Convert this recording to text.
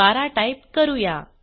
12 type करूया